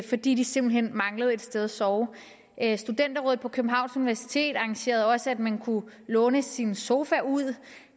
fordi de simpelt hen manglede et sted at sove studenterrådet på københavns universitet arrangerede også at man kunne låne sin sofa ud